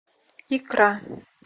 икра